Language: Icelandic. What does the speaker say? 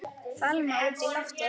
Fálma út í loftið.